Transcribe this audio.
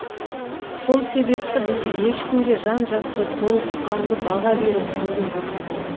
сол себепті біз ешкімге жан жақты толыққанды баға беріп көрген жоқпыз